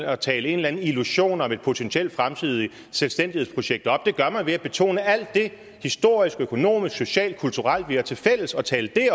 at tale eller anden illusion om et potentielt fremtidigt selvstændighedsprojekt op det gør man ved at betone alt det historiske økonomiske sociale og kulturelle vi har tilfælles og tale det